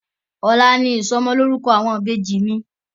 Ọ̀la ni ìsọmọlórúkọ àwọn Ìbejì mi